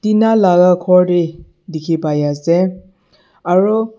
tina laga ghor bhi dikhi pai ase aro--